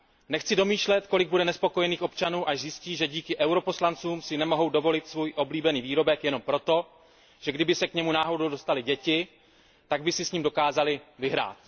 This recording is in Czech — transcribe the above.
Nechci domýšlet, kolik bude nespokojených občanů, až zjistí, že díky poslancům EP si nemohou dovolit svůj oblíbený výrobek jenom proto, že kdyby se k němu náhodou dostaly děti, tak by si s ním dokázaly vyhrát.